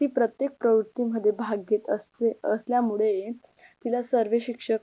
ती प्रत्येक प्रवृत्ती मध्ये भाग घेत असल्या असल्यामुळे तिला सर्वे शिक्षक